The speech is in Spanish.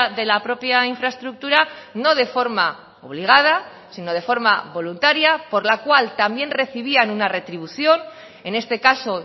de la propia infraestructura no de forma obligada sino de forma voluntaria por la cual también recibían una retribución en este caso